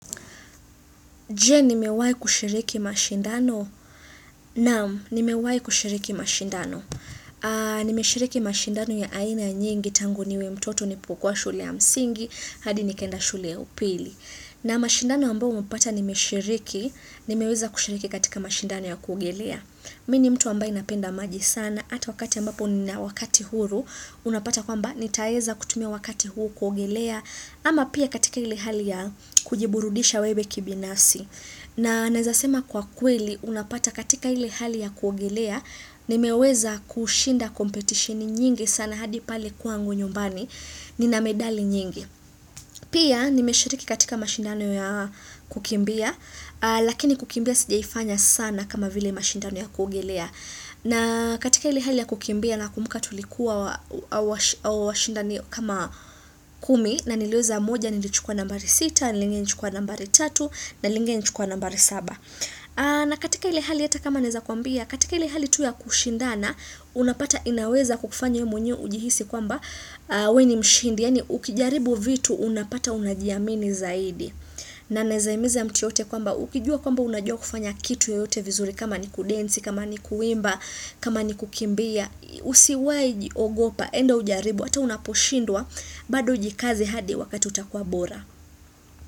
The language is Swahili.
Je, nimewai kushiriki mashindano? Naam, nimewai kushiriki mashindano. Nimeshiriki mashindano ya aina nyingi tangu niwe mtoto nilopokua shule ya msingi, hadi nikaenda shule ya upili. Na mashindano ambaoumepata nimeshiriki, nimeweeza kushiriki katika mashindano ya kuogelea. Mini mtu ambaye napenda maji sana, ata wakati ambapo nina wakati huru, unapata kwamba ni taeza kutumia wakati huu kuogelea, ama pia katika ile hali ya kujiburudisha wewe kibinasfi. Na naezasema kwa kweli, unapata katika ile hali ya kuogelea, nimeweza kushinda competitioni nyingi sana hadi pale kwangu nyumbani, nina medali nyingi. Pia, nimeshiriki katika mashindano ya kukimbia, lakini kukimbia sijaifanya sana kama vile mashindano ya kuogelea. Na katika ile hali ya kukimbia na kumbuka tulikuwa wa shindani kama kumi na niliweza moja nilichukua nambari sita, lingine nilichukua nambari tatu, na lingine nilichukua nambari saba. Na katika ile hali ata kama naeza kwambia, katika ile hali tu ya kushindana, unapata inaweza kukufanya wee mwenye ujihisi kwamba wee ni mshindi, yaani ukijaribu vitu unapata unajiamini zaidi. Na naeza himiza mtu yoyote kwamba ukijua kwamba unajua kufanya kitu yoyote vizuri kama ni kudensi, kama ni kuimba, kama ni kukimbia, usiwahi ogopa, enda ujaribu, ata unaposhindwa, bado ujikaze hadi wakati utakuwa bora.